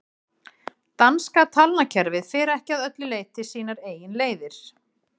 danska talnakerfið fer ekki að öllu leyti sínar eigin leiðir